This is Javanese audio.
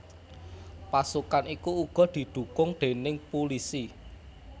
Pasukan iku uga didhukung déning pulisi